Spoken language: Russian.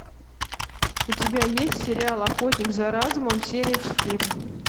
у тебя есть сериал охотник за разумом серия четыре